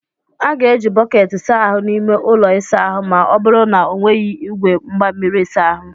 A ga-eji bọket saa ahu n'ime ụlọ ịsa ahụ ma ọ bụrụ na ọ n'weghị igwe mgbamiri ịsa ahụ.